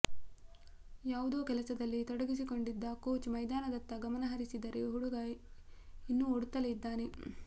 ಯಾವುದೋ ಕೆಲಸದಲ್ಲಿ ತೊಡಗಿಕೊಂಡಿದ್ದ ಕೋಚ್ ಮೈದಾನದತ್ತ ಗಮನಹರಿಸಿದರೆ ಹುಡುಗ ಇನ್ನೂ ಓಡುತ್ತಲೇ ಇದ್ದಾನೆ